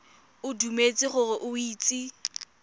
o dumetse gore o itse